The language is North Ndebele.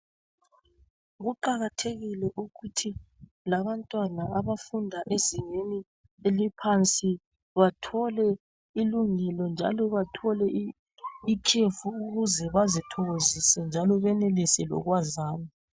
Kuqakathekile ukuthi labantwana abafunda ezingeni eliphansi bathole ilungelo njalo bathole ikhefu ukuze bazithokozise njalo benelise lokwazana